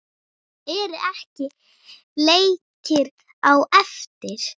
Eru ekki leikir á eftir?